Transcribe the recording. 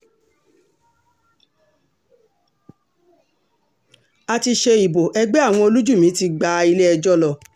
a ti ṣe ìbò ẹgbẹ́ àwọn olùjìmì ti gba ilé-ẹjọ́ lọ